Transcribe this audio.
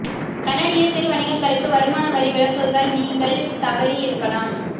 கனடிய சிறு வணிகங்களுக்கு வருமான வரி விலக்குகள் நீங்கள் தவறியிருக்கலாம்